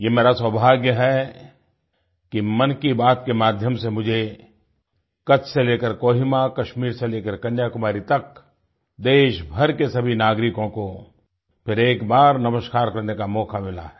ये मेरा सौभाग्य है कि मन की बात के माध्यम से मुझे कच्छ से लेकर कोहिमा कश्मीर से लेकर कन्याकुमारी तक देशभर के सभी नागरिकों को फिर एक बार नमस्कार करने का मौका मिला है